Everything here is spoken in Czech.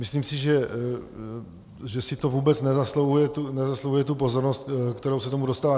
Myslím si, že si to vůbec nezasluhuje tu pozornost, která se tomu dostává.